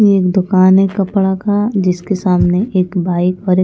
ये एक दुकान है कपड़ा का जिसके सामने एक बाइक और एक--